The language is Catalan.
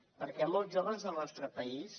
perquè molts joves al nostre país